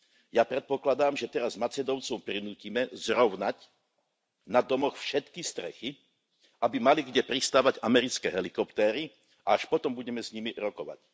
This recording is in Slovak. Ja predpokladám, že teraz Macedóncov prinútime zrovnať na domoch všetky strechy, aby mali kde pristávať americké helikoptéry, a až potom budeme s nimi rokovať.